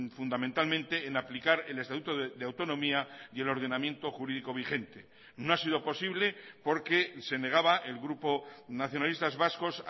fundamentalmente en aplicar el estatuto de autonomía y el ordenamiento jurídico vigente no ha sido posible porque se negaba el grupo nacionalistas vascos